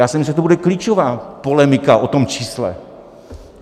Já jsem myslel, že to bude klíčová polemika o tom čísle.